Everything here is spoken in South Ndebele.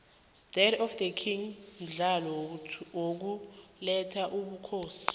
death of the king mdlalo wokulela ubukhosi